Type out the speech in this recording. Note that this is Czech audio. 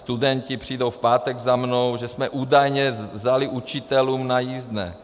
Studenti přijdou v pátek za mnou, že jsme údajně vzali učitelům na jízdné.